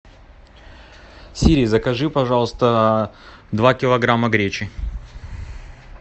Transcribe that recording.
сири закажи пожалуйста два килограмма гречи